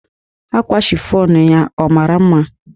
Akwa chifọnụ ya ọ mara mma?